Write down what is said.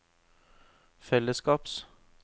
fellesskaps